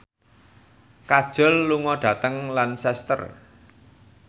Kajol lunga dhateng Lancaster